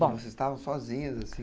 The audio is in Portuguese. Vocês estavam sozinhas, assim?